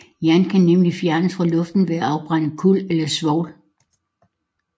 Yin kan nemlig fjernes fra luften ved at afbrænde kul eller svovl